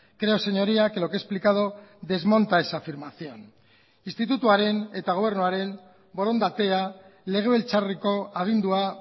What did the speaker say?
creo señoría que lo que he explicado desmonta esa afirmación institutuaren eta gobernuaren borondatea legebiltzarreko agindua